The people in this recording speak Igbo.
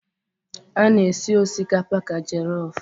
A na-esi osikapa ka jelofụ.